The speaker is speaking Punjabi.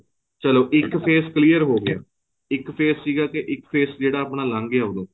ਚੱਲੋ ਇੱਕ face clear ਹੋ ਗਿਆ ਇੱਕ face ਸੀਗਾ ਜਿਹੜਾ ਇੱਕ face ਆਪਣਾ ਲੰਗ ਗਿਆ ਉਦੋਂ